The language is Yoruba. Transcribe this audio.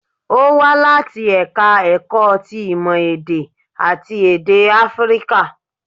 Ó wá láti ẹ̀ka ẹ̀kọ́ ti ìmọ̀ èdè àti èdè áfíríkà